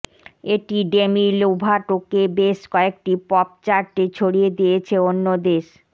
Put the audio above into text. এটি ডেমি লোভাটোকে বেশ কয়েকটি পপ চার্টে ছড়িয়ে দিয়েছে অন্য দেশ